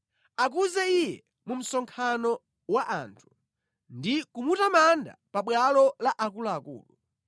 Akuze Iye mu msonkhano wa anthu ndi kumutamanda pabwalo la akuluakulu.